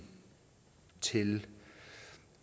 til